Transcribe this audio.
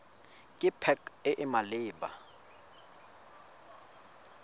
ke pac e e maleba